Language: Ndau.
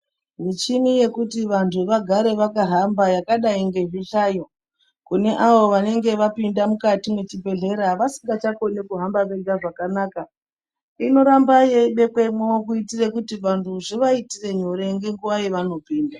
Michini yekuti vantu vagare vakahamba yakadai ngezvihlayo kune avo vanenge vapinda mwukati mwechibhedlera vasingachakoni kuhamba vega zvakanaka, inoramba yeibekwemwo kuitire kuti vantu zvivaitire nyore ngenguwa yevanopinda.